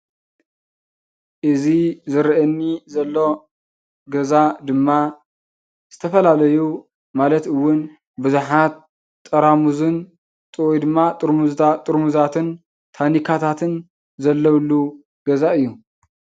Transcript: እዚ ዝረኣየኒ ዘሎ ገዛ ድማ ዝተፈላለዩ ማለት እውን ቡዝሓት ጠራሙዝን ወይድማ ጥርሙዛትን ታኒካታተን ዘለውሉ ገዛ እዩ።